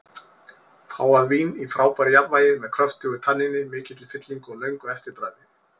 Fágað vín í frábæru jafnvægi, með kröftugu tanníni, mikilli fyllingu og löngu eftirbragði.